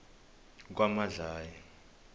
kwamadlayi